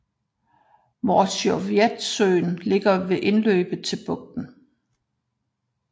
Morzjovetsøen ligger ved indløbet til bugten